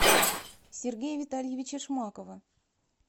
сергея витальевича шмакова